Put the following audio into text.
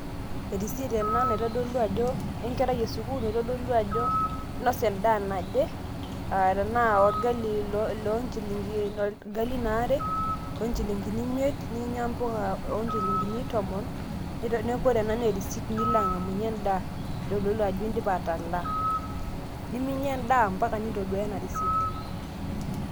e receipt ena enkerai esukuul naitodolu ajo, inosa edaa naje, aa tenaa irgalin loo nchilinkini aa irgalin aare, loo nchilinkini imiet, ninyia mpuka oo nchilinkini tomon, neeku ore ena naa e receipt nilo angamiunye edaa. nitodolu ajo idipa atalaaa. niminyia edaa mpaka nintoduaaya ena receipt.